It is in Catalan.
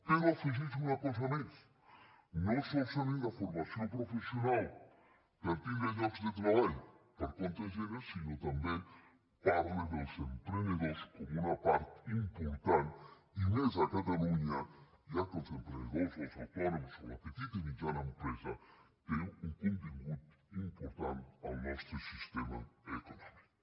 però afegeix una cosa més no solament la formació professional per tindre llocs de treball per compte aliè sinó que també parla dels emprenedors com una part important i més a catalunya ja que els emprenedors els autònoms o la petita i mitjana empresa tenen un contingut important al nostre sistema econòmic